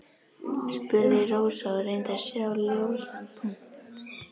spurði Rósa og reyndi að sjá ljósan punkt.